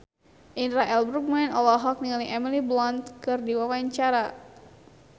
Indra L. Bruggman olohok ningali Emily Blunt keur diwawancara